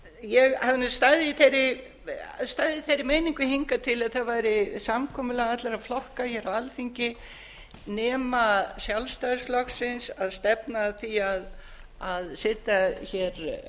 ég hafði nú staðið í þeirri meiningu hingað til að það væri samkomulag allra flokka hér á alþingi nema sjálfstæðisflokksins að stefna að því að setja hér